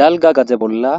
Dalgga gade bolla